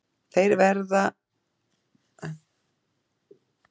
Þeir veiða aðallega á nóttunni en geta þó einnig verið á ferli á daginn.